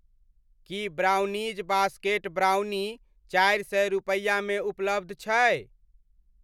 की brownies basket brownie चारि सए रूपैआमे उपलब्ध छै?